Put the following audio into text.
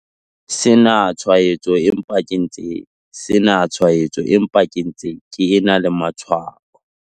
sena tshwaetso empa ke ntse sena tshwaetso empa ke ntse ke ena le matshwao.